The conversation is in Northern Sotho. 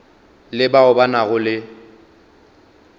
le bao ba nago le